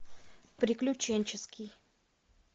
приключенческий